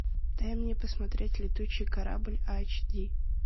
дай мне посмотреть летучий корабль айч ди